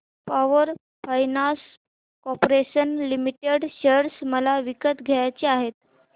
power finance corporation limited share मला विकत घ्यायचे आहेत